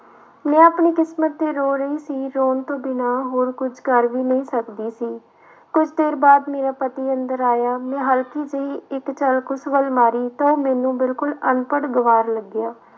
ਮੈਂ ਆਪਣੀ ਕਿਸਮਤ ਤੇ ਰੋ ਰਹੀ ਸੀ ਰੌਣ ਤੋਂ ਬਿਨਾਂ ਹੋਰ ਕੁਛ ਕਰ ਵੀ ਨਹੀਂ ਸਕਦੀ ਸੀ, ਕੁੱਝ ਦੇਰ ਬਾਅਦ ਮੇਰਾ ਪਤਾ ਅੰਦਰ ਆਇਆ ਮੈਂ ਹਲਕੀ ਜਿਹੀ ਇੱਕ ਝਲਕ ਉਸ ਵੱਲ ਮਾਰੀ ਤਾਂ ਮੈਨੂੰ ਬਿਲਕੁਲ ਅਨਪੜ੍ਹ ਗਵਾਰ ਲੱਗਿਆ।